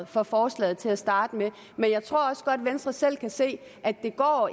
for forslaget til at starte med men jeg tror også godt venstre selv kan se at det ikke går